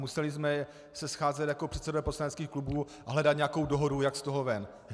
Museli jsme se scházet jako předsedové poslaneckých klubů a hledat nějakou dohodu, jak z toho ven.